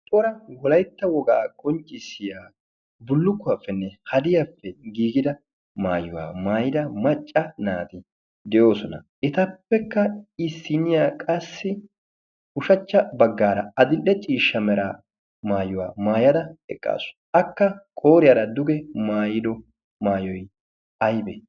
Cora wolaytta wogaa qoncciissiya bullukkuwaappenne hadiyaappe giigida maayuwaa maayida macca naati de'oosona. etappekka issiniya qassi ushachcha baggaara adi'le ciishsha mera maayuwaa maayada eqqaasu. Akka qooriyaara duge maayido maayoi aybee?